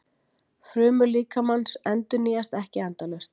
Frumur líkamans endurnýjast ekki endalaust.